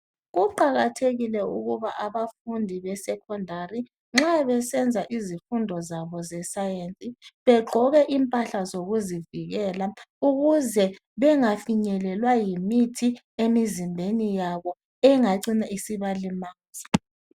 Kuqakathekile ukuba abafundi be secondary nxa besenza izifundo zabo zescience begqoke impahla zokuzivikela ukuze bengafinyelelwa yimithi emizimbeni yabo engacina isibalimaza